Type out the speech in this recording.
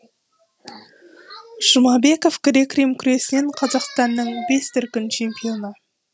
жұмабеков грек рим күресінен қазақстанның бес дүркін чемпионы